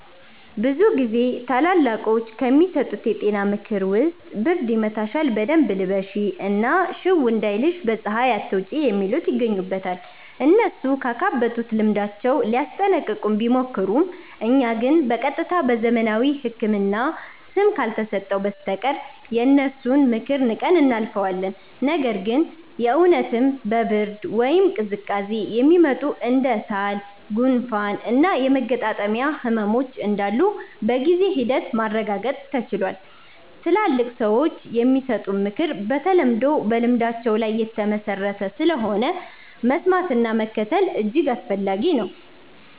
ብዙ ጊዜ ታላላቆች ከሚሰጡን የጤና ምክር ውስጥ ብርድ ይመታሻል በደንብ ልበሺ እና ሽው እንዳይልሽ በ ፀሃይ አትውጪ የሚሉት ይገኙበታል። እነሱ ካካበቱት ልምዳቸው ሊያስጠነቅቁን ቢሞክሩም እኛ ግን በ ቀጥታ በዘመናዊው ህክምና ስም ካልተሰጠው በስተቀር የነሱን ምክር ንቀን እናልፈዋለን። ነገር ግን የ እውነትም በ ብርድ ወይም ቅዝቃዜ የሚመጡ እንደ ሳል፣ ጉንፋን እና የመገጣጠሚያ ህመሞች እንዳሉ በጊዜ ሂደት ማረጋገጥ ተችሏል። ትላልቅ ሰዎች የሚሰጡት ምክር በተለምዶ በልምዳቸው ላይ የተመሠረተ ስለሆነ፣ መስማትና መከተል እጅግ አስፈላጊ ነው።